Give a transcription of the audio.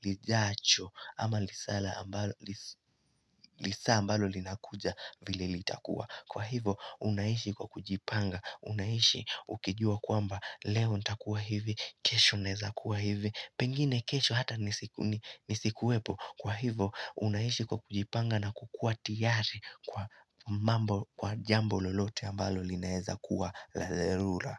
lijacho ama lisaa ambalo linakuja vile itakuwa Kwa hivo unaishi kwa kujipanga unaishi ukijua kwamba leo itakuwa hivi kesho neza kuwa hivi Pengine kesho hata nisikuwepo kwa hivo unaishi kwa kujipanga na kukua tiari kwa mambo kwa jambo lolote ambalo lineeza kuwa lazerura.